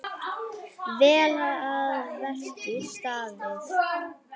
Vel að verki staðið.